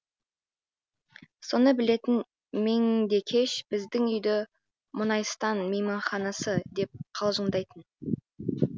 соны білетін меңдекеш біздің үйді мұнайстан мейманханасы деп қалжыңдайтын